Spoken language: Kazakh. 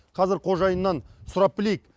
қазір қожайынынан сұрап білейік